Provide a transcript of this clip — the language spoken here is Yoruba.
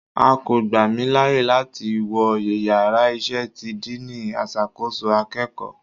A ko gba mi laaye lati wọ ìyára iṣẹ tí diiní asàkọsọ akeéko